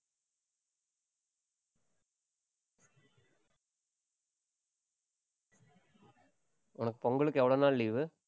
உனக்கு பொங்கலுக்கு எவ்வளவு நாள் leave உ